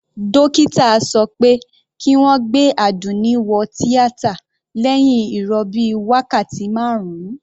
Dókítà sọ pé kí wọ́n gbé Àdùnní wo tíátà lẹ́hìn ìrọbí wákàtí marun.